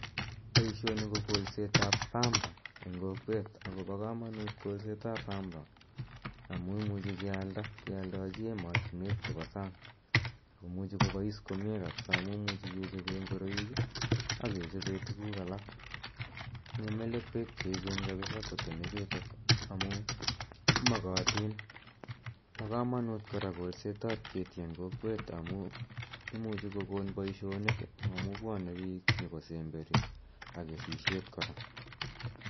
Poishoini ko kolset ap pamba eng' kokwet, akopa kamanut kolsetap pamba amu imuchi kealda, kealdachi ematunwek chepa sang'. Ako muchi kopais komye kapsa amu imuchi kechope ngoroik ak kechope tuguuk alak. Tinye melekwek che echen kapisa pamba ichutok amu makatin . Pa kamanut kora kolset ap keti eng' kokwet amu imuchi kokon poishonik amu pwane piik nyu kosemberi ak kesishet kora.